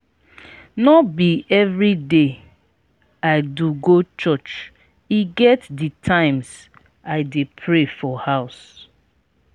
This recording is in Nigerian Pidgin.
no be everyday i do go church e get di times i dey pray for house.